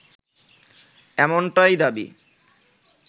এমনটাই দাবি